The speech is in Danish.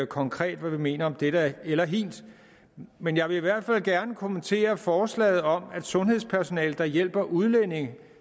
konkret mener om dette eller hint men jeg vil i hvert fald gerne kommentere forslaget om at sundhedspersonale der hjælper udlændinge